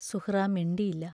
സുഹ്റാ മിണ്ടിയില്ല.